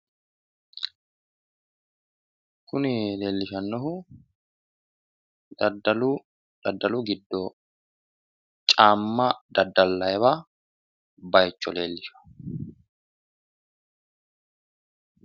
kuni leellishshannohu daddalu giddo caamma daddallayiwa bayicho leellishawo.